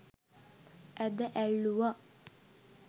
ඇද ඇල්ලුවා.